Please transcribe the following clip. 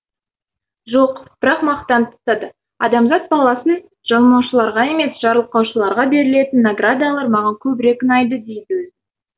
жоқ бірақ мақтан тұтады адамзат баласын жалмаушыларға емес жарылқаушыларға берілетін наградалар маған көбірек ұнайды дейді өзі